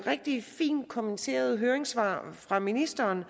de fint kommenterede høringssvar fra ministeren